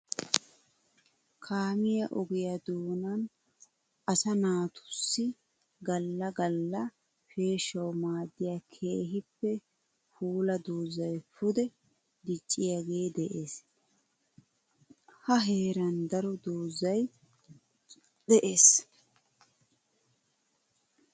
Kaamiya ogiya doonan asaa naatusai gala gala peeshshawu maadiya keehippe puula doozay pude dicciyage de'ees. Ha heeran daro doozzay de'ees.